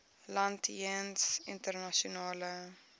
land jeens internasionale